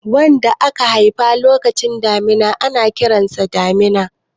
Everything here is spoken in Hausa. wanda aka haifa lokacin damina ana Kiransa damina